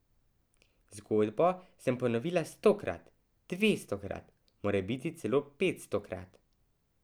Zgodbo sem ponovila stokrat, dvestokrat, morebiti celo petstokrat.